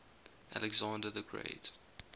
alexander the great